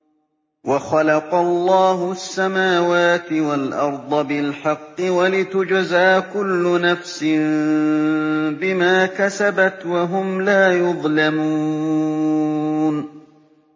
وَخَلَقَ اللَّهُ السَّمَاوَاتِ وَالْأَرْضَ بِالْحَقِّ وَلِتُجْزَىٰ كُلُّ نَفْسٍ بِمَا كَسَبَتْ وَهُمْ لَا يُظْلَمُونَ